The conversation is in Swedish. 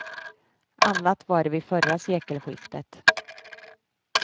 Annat var det vid förra sekelskiftet.